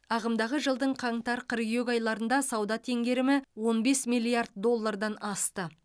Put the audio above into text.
ағымдағы жылдың қаңтар қыркүйек айларында сауда теңгерімі он бес миллиард доллардан асты